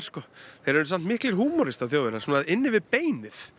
þeir eru samt miklir húmoristar Þjóðverjar svona inni við beinið